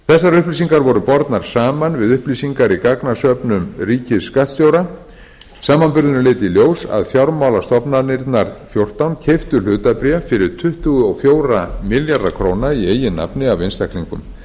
þessar upplýsingar voru bornar saman við upplýsingar í gagnasöfnum ríkisskattstjóra samanburðurinn leiddi í ljós að fjármálastofnanirnar fjórtán keyptu hlutabréf fyrir tuttugu og fjóra milljarða króna í eigin nafni af einstaklingum þegar litið er til